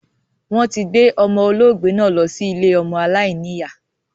Wọn tí gbé ọmọ olóògbé náà lọ sí ilé ọmọ aláìníya